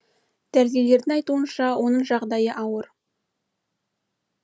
дәрігерлердің айтуынша оның жағдайы ауыр